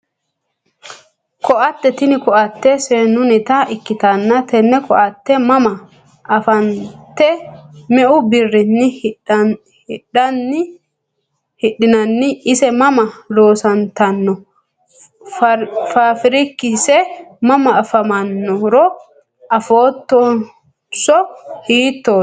Koatte tini koatte seenunita ikitanna tene koatte mama anfanite meu birrini hidhinani ise mama loosantano faafirikise mama afamanoro afootonso hiitoti?